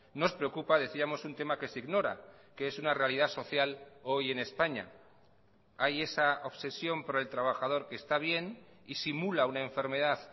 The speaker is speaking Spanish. nos preocupa decíamos un tema que se ignora que es una realidad social hoy en españa hay esa obsesión por el trabajador que está bien y simula una enfermedad